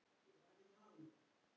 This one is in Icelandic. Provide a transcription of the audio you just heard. Sagan er lýsandi fyrir Helgu.